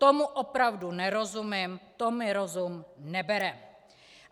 Tomu opravdu nerozumím, to mi rozum nebere!